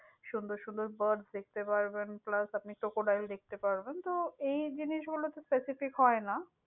সুন্দর সুন্দর birds দেখতে পারবেন plus আপনি crocodile দেখতে পারবেন। তো এই জিনিস গুলোতে specific হয়না।